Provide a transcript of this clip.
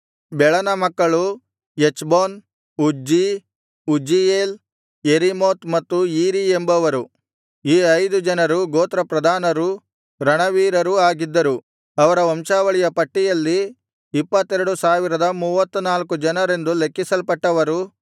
ಬೆಳನ ಮಕ್ಕಳು Ezbon Uzzi Uzziel Jerimoth ಮತ್ತು Iri ಎಂಬವರು ಈ ಐದು ಜನರು ಗೋತ್ರ ಪ್ರಧಾನರು ರಣವೀರರೂ ಆಗಿದ್ದರು ಅವರ ವಂಶಾವಳಿಯ ಪಟ್ಟಿಯಲ್ಲಿ ಇಪ್ಪತ್ತೆರಡು ಸಾವಿರದ ಮೂವತ್ತನಾಲ್ಕು ಜನರೆಂದು ಲೆಕ್ಕಿಸಲ್ಪಟ್ಟವರು